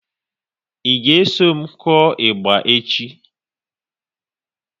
Ị ga eso m kụọ ịgba echi?